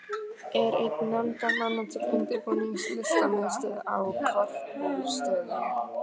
Er einn nefndarmanna til undirbúnings Listamiðstöð á Korpúlfsstöðum.